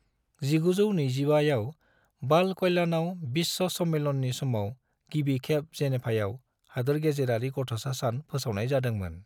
1925 आव बाल कल्याणआव विश्व सम्मेलननि समाव गिबि खेब जेनेभाआव हादोरगेजेरारि गथ'सा सान फोसावनाय जादोंमोन।